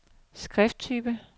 skrifttype